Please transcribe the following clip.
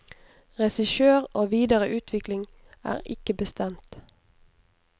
Regissør og videre utvikling er ikke bestemt.